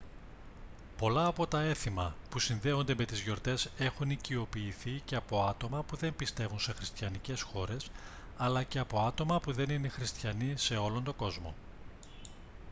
πολλά από τα έθιμα που συνδέονται με τις γιορτές έχουν οικειοποιηθεί και από άτομα που δεν πιστεύουν σε χριστιανικές χώρες αλλά και από άτομα που δεν είναι χριστιανοί σε όλο τον κόσμο